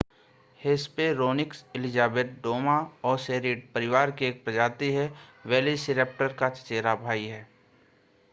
Hesperonychus Elizabeth Dromaeosauridae परिवार की एक प्रजाति है और वेलोसिरैप्टर का चचेरा भाई है